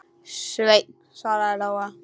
Sveinn, svaraði Lóa.